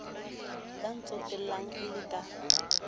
ya ntsotellang e le ka